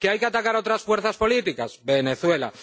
que hay que atacar a otras fuerzas políticas, Venezuela.